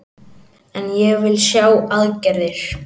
En ég vil sjá aðgerðir